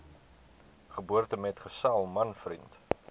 geboortemetgesel man vriend